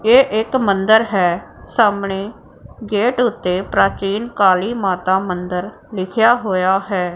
ਇਹ ਇੱਕ ਮੰਦਿਰ ਹੈ ਸਾਹਮਣੇ ਗੇਟ ਓੱਤੇ ਪ੍ਰਾਚੀਨ ਕਾਲੀ ਮਾਤਾ ਮੰਦਿਰ ਲਿਖਿਆ ਹੋਇਆ ਹੈ।